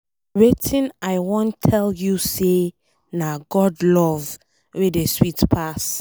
Wetin I wan tell you be say na God love wey dey sweet pass.